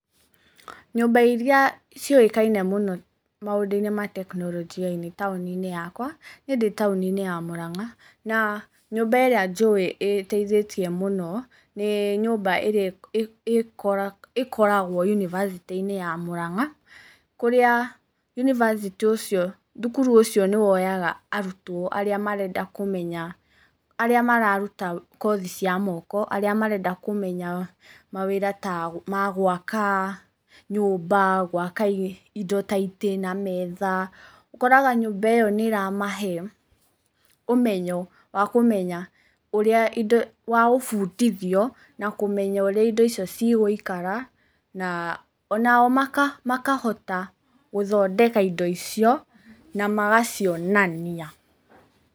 Nyũmba iria ciũĩkaine mũno maũndũ-inĩ ma teknolojia taũni-inĩ yakwa, niĩ ndĩ taũni-inĩ ya Mũrang'a, na nyũmba ĩrĩa njũĩ ĩtaithĩtie mũno, nĩ nyũmba ĩrĩa ĩkoragwo yunibacĩtĩ-inĩ ya Mũrang'a, kũrĩa yunibacitĩ ũcio, thukuru ũcio nĩwoyaga arutwo arĩa marenda kũmenya, arĩa marenda kũruta kothi cia moko, arĩa marenda kũmenya mawĩra ta ma gwaka nyũmba, gwaka indo ta itĩ na metha, ũkoraga nyũmba ĩyo nĩ ĩramahe ũmenyo wa kũmenya ũrĩa indo, wa gũbundithio, na kũmenya ũrĩa indo icio cigũikara, na onao makahota gũthondeka indo icio, na magacionania.